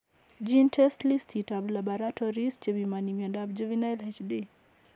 GeneTests listit ap labaratories chepimoni miondap Juvenile HD.